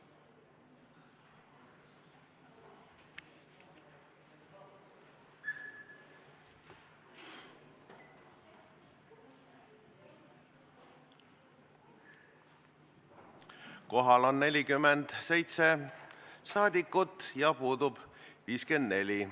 Kohaloleku kontroll Kohal on 47 rahvasaadikut ja puudub 54.